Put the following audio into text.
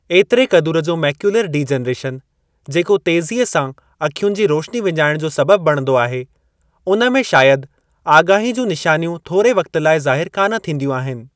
एतिरे क़दुरु जो मैक्यूलर डिजनरेशन, जेको तेज़ीअ सां अखियुनि जी रोशनी विञाइण जो सबबि बणंदो आहे, उन में शायदि आगाही जूं निशानियूं थोरे वक़्ति लाइ ज़ाहिर कान थींदियूं आहिनि।